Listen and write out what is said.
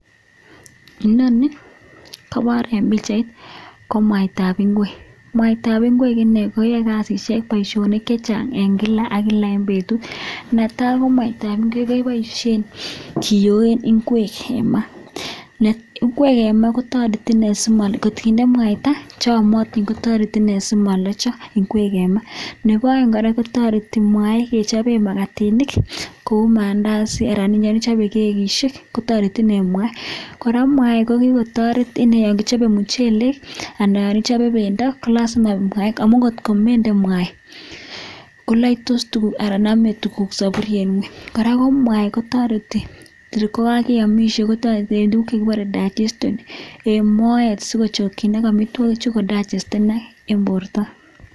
Inoni kobor en pichait ko mwaitab ngwek. Mwaitab ngwek ine koyoi kasishek bosionik chechang en kila ak kila en betut. Netai ko mwaitab ngwek keboishen kiyoen ngwek en ma. Ngwek en ma, ngot kinde mwaita che yomotin kotoreti simolocho ngwek en ma. Nebo oeng kora kotoreti mwai kechopen magatinik kou maandazi anan ko yon ichope kekishek kotoreti ine mwai. Kora mwai kokikotoret inee yon kichobe muchelek anan ichobe bendo, ko lazima mwai amun kotko mende mwai koloktos tuguk anan nome tuguk soburiet ngweny. Kora ko mwai kotoreti kogaiamishe, kotoreti en tuguk chekibore digestion en moet sikochokinok amitwogikchu kodigestenak en borto.